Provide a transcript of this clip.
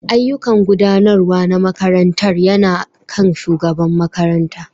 Ayyukan Gudanarwa na makarantar yana kan shugaban makaranta